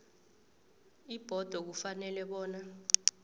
ibhodo ifanele bona